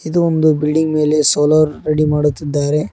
ಇದು ಒಂದು ಬಿಲ್ಡಿಂಗ್ ಮೇಲೆ ಸೋಲಾರ್ ರೆಡಿ ಮಾಡುತ್ತಿದ್ದಾರೆ.